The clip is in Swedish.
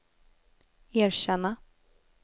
erkänna